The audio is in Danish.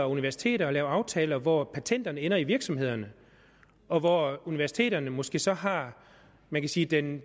universiteter at lave aftaler hvor patenterne ender i virksomhederne og hvor universiteterne måske så har man kan sige den